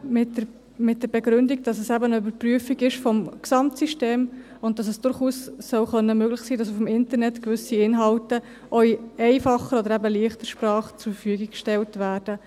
Dies mit der Begründung, dass es eben eine Überprüfung des Gesamtsystems ist und dass es durchaus möglich sein soll, dass gewisse Inhalte im Internet auch in einfacher oder eben in «leichter Sprache» zur Verfügung gestellt werden.